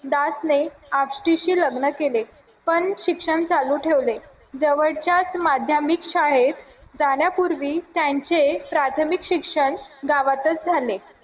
दास ने आपटीशी लग्न केले पण अठराशेशिक्षण चालू ठेवले जवळच्याच माध्यमिक शाळेत जाण्यापूर्वी त्यांचे प्राथमिक शिक्षण गावातच झाले